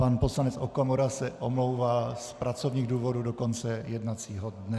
Pan poslanec Okamura se omlouvá z pracovních důvodů do konce jednacího dne.